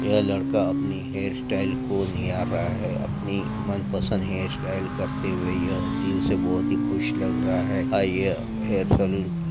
यह लड़का अपनी हेरस्टयल को निहार रहा है अपनी मनपसंद हेरस्टयल करते हुए है यह दिल से बहुत ही खुश लग रहा है और यह हेयरसलून --